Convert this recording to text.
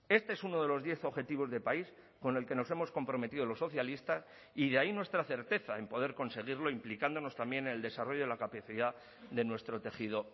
este es uno de los diez objetivos de país con el que nos hemos comprometido los socialistas y de ahí nuestra certeza en poder conseguirlo implicándonos también en el desarrollo de la capacidad de nuestro tejido